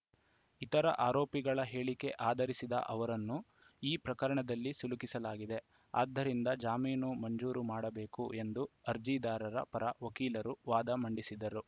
ಇತರ ಆರೋಪಿಗಳ ಹೇಳಿಕೆ ಆಧರಿಸಿದ ಅವರನ್ನು ಈ ಪ್ರಕರಣದಲ್ಲಿ ಸಿಲುಕಿಸಲಾಗಿದೆ ಆದ್ದರಿಂದ ಜಾಮೀನು ಮಂಜೂರು ಮಾಡಬೇಕು ಎಂದು ಅರ್ಜಿದಾರರ ಪರ ವಕೀಲರು ವಾದ ಮಂಡಿಸಿದ್ದರು